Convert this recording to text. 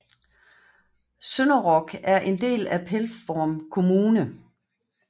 Sønderog er en del af Pelvorm kommune